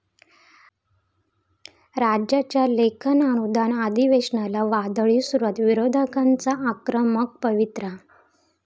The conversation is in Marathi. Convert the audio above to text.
राज्याच्या लेखानुदान अधिवेशनाला 'वादळी' सुरुवात, विरोधकांचा आक्रमक पवित्रा